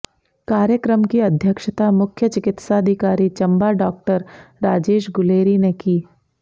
कार्यक्रम की अध्यक्षता मुख्य चिकित्साधिकारी चंबा डाक्टर राजेश गुलेरी ने की